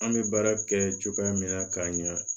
An bɛ baara kɛ cogoya min na k'a ɲɛ